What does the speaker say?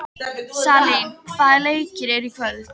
Salín, hvaða leikir eru í kvöld?